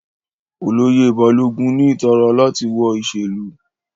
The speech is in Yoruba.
Oloye Balogun ni itara lati wọ iṣelu